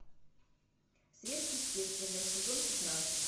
сверхъестественное сезон пятнадцать